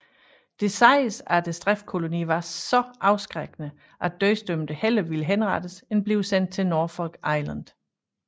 Det siges at straffekolonien var så afskrækkende at dødsdømte hellere ville henrettes end blive sendt til Norfolk Island